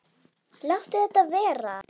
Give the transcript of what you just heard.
Láttu þetta vera!